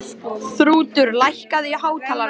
Þrútur, lækkaðu í hátalaranum.